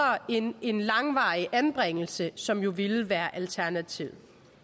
end en langvarig anbringelse som jo ville være alternativet